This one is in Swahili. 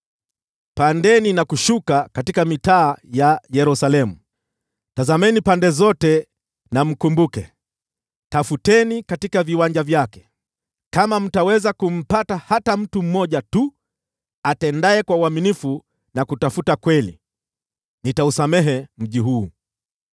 “Pandeni na kushuka katika mitaa ya Yerusalemu, tazameni pande zote na mtafakari, tafuteni katika viwanja vyake. Kama mtaweza kumpata hata mtu mmoja tu atendaye kwa uaminifu na kutafuta kweli, nitausamehe mji huu.